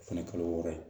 O fɛnɛ kalo wɔɔrɔ ye